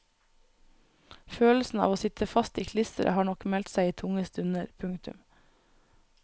Følelsen av å sitte fast i klisteret har nok meldt seg i tunge stunder. punktum